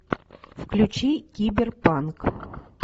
включи киберпанк